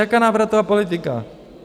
Jaká návratová politika?